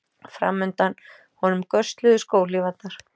Framundan honum gösluðu skóhlífarnar.